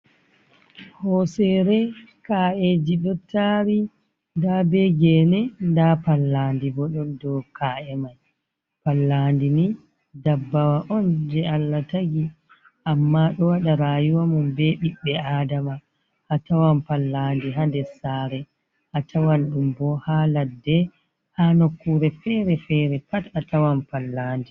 Hosere ka’eji ɗo tari, nɗa be gene, nɗa pallanɗi bo ɗon ɗow ka’e mai. Pallanɗi ni dabbawa on je Allah tagi, amma ɗo wada rayuwamun be bibbe Aɗama. atawan pallanɗi ha ɗes sare. A tawan ɗum bo ha laɗɗe ha nokkure fere-fere pat a tawan pallanɗi.